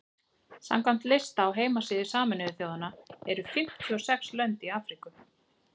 samkvæmt lista á heimasíðu sameinuðu þjóðanna eru fimmtíu og sex lönd í afríku